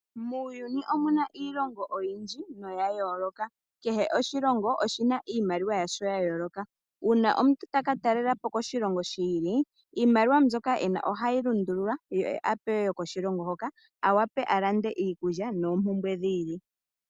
Muuyuni omuna iilongo oyindji no ya yooloka, kehe oshilongo oshina iimaliwa yasho ya yooloka. Uuna omuntu ta ka talelapo koshilongo shi ili, iimaliwa mbyoka ena ohayi lundululwa ye apewe yo koshilongo shoka, a vule a lande iikulya noompumbwe dhi ili.